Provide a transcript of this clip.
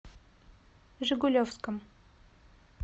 жигулевском